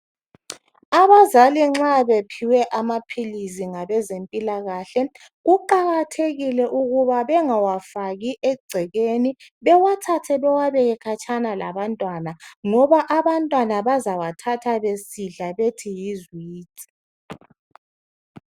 abazali nxa bephiwe amaphilisi ngabezempilakahle kuqhakathekile ukuthi bengawafaki ecekeni bewathathe bewa beke khatshana labantwana ngoba abantnwana bayawathatha besithi yi ziwiji